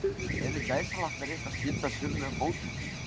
Eru gæsalappir eitthvað skyldar sögulegum fótum?